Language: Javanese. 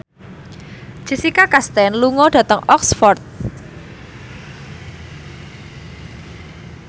Jessica Chastain lunga dhateng Oxford